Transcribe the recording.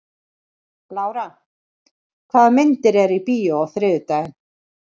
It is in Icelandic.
Lára, hvaða myndir eru í bíó á þriðjudaginn?